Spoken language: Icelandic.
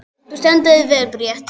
Þú stendur þig vel, Bríet!